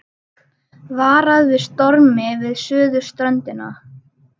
Varað við stormi við suðurströndina